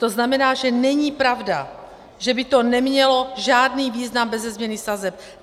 To znamená, že není pravda, že by to nemělo žádný význam beze změny sazeb.